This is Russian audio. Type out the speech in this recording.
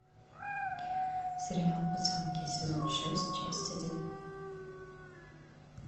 сериал пацанки сезон шесть часть один